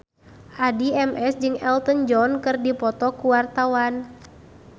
Addie MS jeung Elton John keur dipoto ku wartawan